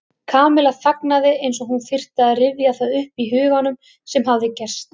Kamilla þagnaði eins og hún þyrfti að rifja það upp í huganum sem hafði gerst.